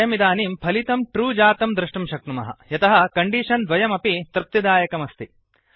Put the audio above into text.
वयमिदानीं फलितं ट्रू जातं द्रष्टुं शक्नुमः यतः कण्डीषन् द्वयमपि तृप्तिदायकमस्ति